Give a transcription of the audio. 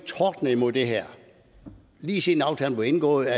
tordne imod det her lige siden aftalen blev indgået